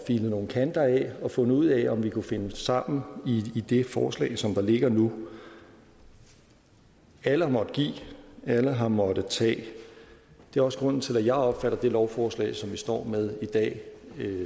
filet nogle kanter af og fundet ud af om vi kunne finde sammen i det forslag som der ligger nu alle har måttet give alle har måttet tage det er også grunden til at jeg opfatter det lovforslag som vi står med i dag